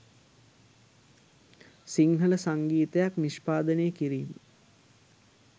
සිංහල සංගීතයක් නිෂ්පාදනය කිරීම